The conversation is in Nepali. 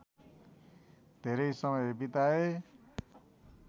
धेरे समय बिताए